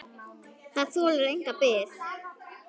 Það þolir enga bið!